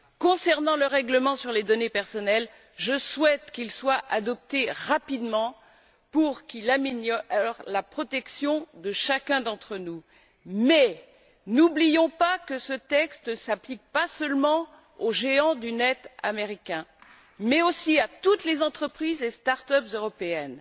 Concernant le règlement sur les données personnelles, je souhaite qu'il soit adopté rapidement pour qu'il améliore la protection de chacun d'entre nous. Toutefois, n'oublions pas que ce texte ne s'applique pas seulement aux géants du net américains mais aussi à toutes les entreprises et start up européennes.